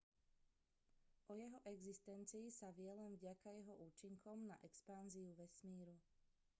o jeho existencii sa vie len vďaka jeho účinkom na expanziu vesmíru